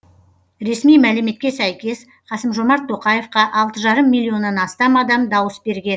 ресми мәліметке сәйкес қасым жомарт тоқаевқа алты жарым миллионнан астам адам дауыс берген